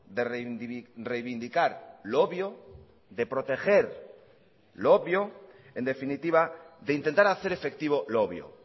de reivindicar lo obvio de proteger lo obvio en definitiva de intentar hacer efectivo lo obvio